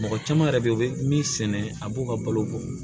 Mɔgɔ caman yɛrɛ bɛ yen u bɛ min sɛnɛ a b'o ka balo bɔ